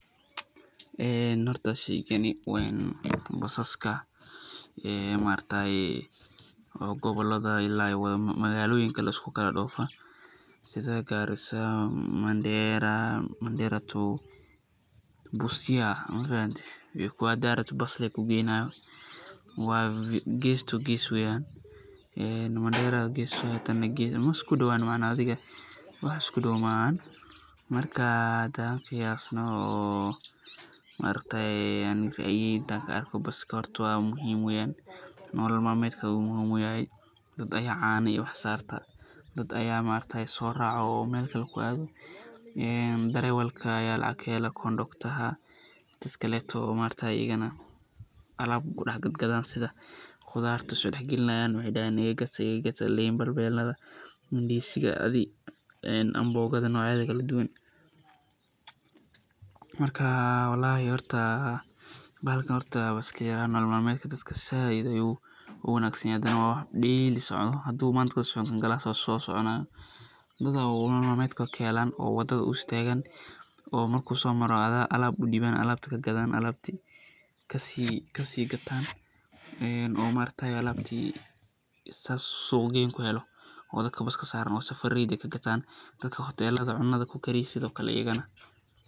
Horta sheygani waa basaska maargtaye oo gobolada ilaa magaaloyinka lisku kala doofo, sida Garissa, mandera [to] Busia, hadaad rabtid bas lee ku geeynaayo, gees to gees weeyan, mandera gees tana gees marka maisku dawaan wax isku dow maahan, marka hadaan qiyaasno oo maargtaye, ani intaan kaarko baska muhiim weeyan, nolol malmeedka ayuu muhiim utahay, dad ayaa caano iyo wax saarta, dad ayaa soo raaco oo meel kale kuaado, darawalka ayaa lacag kahelo,[conductor]ha, dad kale oo wax kudex gadgado, qudaarta soo dex galinaayan, waxeey dahaana iga gata iga gata, liinta, ndiziga, amboogada noocyadeeda kala duban, marka bahalkan nolol malmeedka dadka sait ayuu uwanagsan yahay, hadane waa wax [daily]socda, haduu maanta soconi ku kale ayaa soconaa, dad ayaa nolol malmeedkooda kahelaan oo wadada u istaagan, oo marku soo maro alaab kagadaan, alaabti kasii gataan, oo alaabti saas suuq geyn kuhelo oo dadka baska saaran oo safareyda kagataan, dadka hotelada cunada kukariya sido kale ayagana.